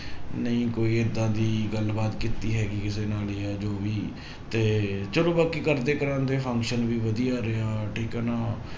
ਨਹੀਂ ਕੋਈ ਏਦਾਂ ਦੀ ਗੱਲਬਾਤ ਕੀਤੀ ਹੈਗੀ ਕਿਸੇ ਨਾਲ ਜਾਂ ਜੋ ਵੀ ਤੇ ਚਲੋ ਬਾਕੀ ਕਰਦੇ ਕਰਵਾਉਂਦੇ function ਵੀ ਵਧੀਆ ਰਿਹਾ ਠੀਕ ਹੈ ਨਾ